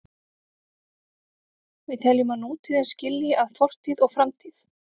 Við teljum að nútíðin skilji að fortíð og framtíð.